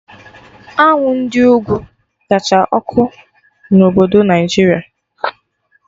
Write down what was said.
Anwụ Ndị ugwu kacha ọkụ na obodo Naijiria